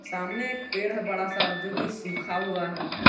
सामने एक पेड़ है बड़ा सा जो कि सूखा हुआ है।